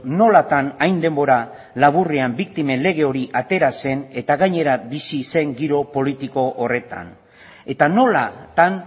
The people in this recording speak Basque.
nolatan hain denbora laburrean biktimen lege hori atera zen eta gainera bizi zen giro politiko horretan eta nolatan